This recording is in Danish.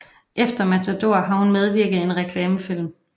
Efter Matador har hun medvirket i en reklamefilm